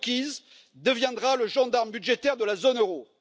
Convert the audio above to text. Kukies, deviendra le gendarme budgétaire de la zone euro.